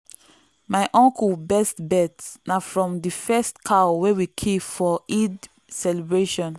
my uncle best belt na from the first cow wey we kill for eid celebration.